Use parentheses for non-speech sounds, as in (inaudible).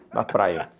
(unintelligible) a praia. (laughs)